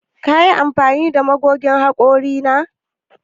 Kin yi amfani da magogin hakori na?